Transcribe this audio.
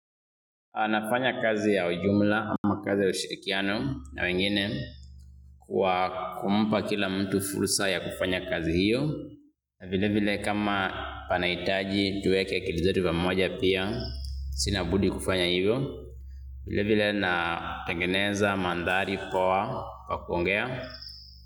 Anafanya kazi ya ujumla ama kazi ya ushirikiano na wengine kwa kumpa kila mtu fursa ya kufanya kazi hiyo. Vile vile kama panaitaji tuweke akili zetu pamoja pia sina budi kufanya hivyo. Vile vile natengeneza mandhari poa kwa kuongea.